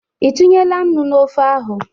Ị tinyela nnu na ofe ahụ?